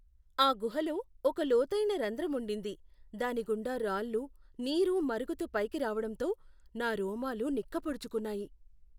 ఆ గుహలో ఒక లోతైన రంధ్రం ఉండింది, దాని గుండా రాళ్ళు, నీరు మరుగుతూ పైకి రావడంతో నా రోమాలు నిక్కపొడుచుకున్నాయి.